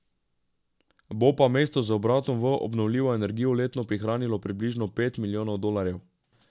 Bo pa mesto z obratom v obnovljivo energijo letno prihranilo približno pet milijonov dolarjev.